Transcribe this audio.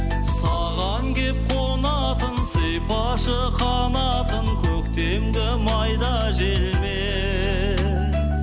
саған келіп қонатын сипашы қанатын көктемгі майда желмен